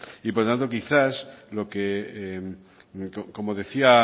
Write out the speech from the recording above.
y por tanto quizá lo que como decía